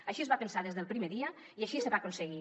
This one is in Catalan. així es va pensar des del primer dia i així es va aconseguir